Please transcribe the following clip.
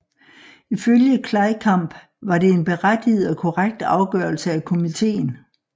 Ifølge Kleikamp var det en berettiget og korrekt afgørelse af komiteen